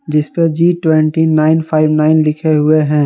जिस पे G twenty nine five nine लिखे हुए हैं।